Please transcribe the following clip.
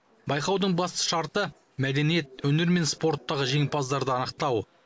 байқаудың басты шарты мәдениет өнер мен спорттағы жеңімпаздарды анықтау